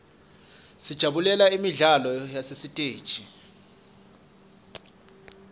sijabulela imidlalo yasesiteji